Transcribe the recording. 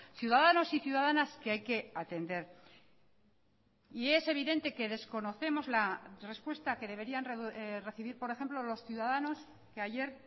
ciudadanos y ciudadanas que hay que atender y es evidente que desconocemos la respuesta que deberían recibir por ejemplo los ciudadanos que ayer